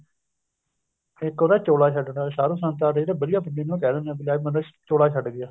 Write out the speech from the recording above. ਇੱਕ ਹੁੰਦਾ ਚੋਲਾ ਛੱਡਣਾ ਸਾਧੂ ਸੰਤਾਂ ਦੇ ਵਧੀਆ ਹੁੰਦਾ ਉਹਨੂੰ ਕਿਹ ਦਿਨੇ ਆ ਵੀ ਲੈ ਵੀ ਬੰਦਾ ਚੋਲਾ ਛੱਡ ਗਿਆ